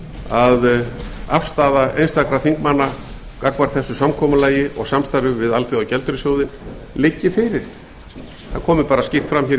að afstaða einstakra þingmanna gagnvart þessu samkomulagi og samstarfi við alþjóðagjaldeyrissjóðinn liggi fyrir það komi skýrt fram hér í